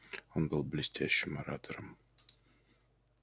он был блестящим оратором